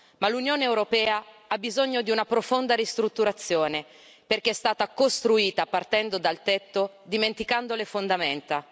Ma l'Unione Europea ha bisogno di una profonda ristrutturazione, perché è stata costruita partendo dal tetto, dimenticando le fondamenta.